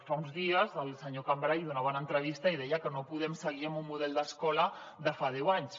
fa uns dies el senyor cambray donava una entrevista i deia que no podem seguir amb un model d’escola de fa deu anys